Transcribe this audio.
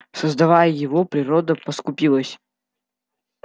создавая его природа поскупилась